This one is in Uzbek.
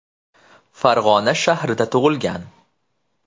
Farg‘ona shahrida tug‘ilgan.